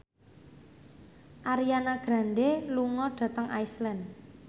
Ariana Grande lunga dhateng Iceland